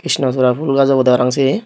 krishna sola phool gach obodey paraang siye.